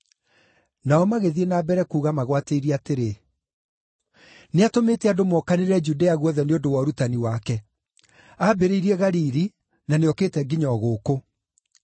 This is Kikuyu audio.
Nao magĩthiĩ na mbere kuuga magwatĩirie atĩrĩ, “Nĩatũmĩte andũ mookanĩrĩre Judea guothe nĩ ũndũ wa ũrutani wake. Aambĩrĩirie Galili na nĩokĩte nginya o gũkũ.”